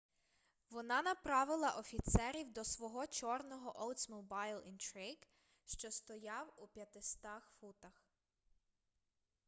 вона направила офіцерів до свого чорного oldsmobile intrigue що стояв у 500 футах